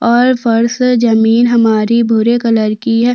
और फर्श जमीन हमारी भूरे कलर की है।